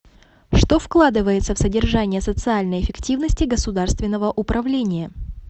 что вкладывается в содержание социальной эффективности государственного управления